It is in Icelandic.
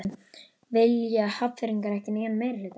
Vilja Hafnfirðingar ekki nýjan meirihluta?